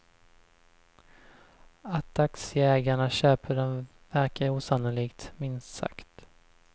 Att aktieägarna köper den verkar osannolikt, minst sagt.